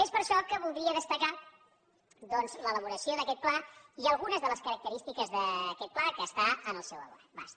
és per això que voldria destacar doncs l’elaboració d’aquest pla i algunes de les característiques d’aquest pla que està al seu abast